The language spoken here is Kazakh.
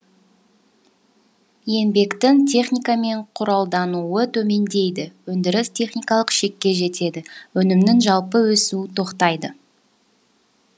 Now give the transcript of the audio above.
еңбектің техникамен құралдануы төмендейді өндіріс техникалық шекке жетеді өнімнің жалпы өсуі тоқтайды